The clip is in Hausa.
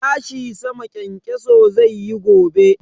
Tashi sama kyankyaso zai yi gobe.